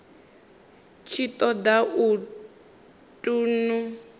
tshi ṱo ḓa u ṱun